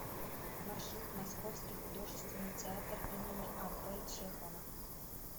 маршрут московский художественный театр им ап чехова